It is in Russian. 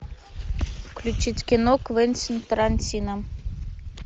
включить кино квентин тарантино